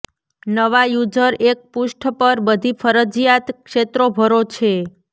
નવા યુઝર એક પૃષ્ઠ પર બધી ફરજિયાત ક્ષેત્રો ભરો છે